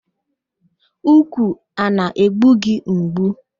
Úkwù a na-egbugị mgbu?